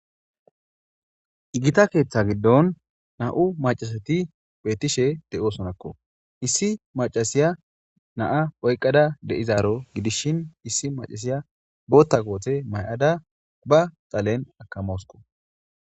Gita keeththa giddon na7u maccasati betishe de7oosonakko. Issi maccasiya na7a oyqqada de7izaaro gidishin issi maccaasiya booththa koote mayada ba dhalen akamawuskko.